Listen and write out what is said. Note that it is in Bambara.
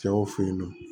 Cɛw fe yen nɔ